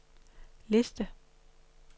liste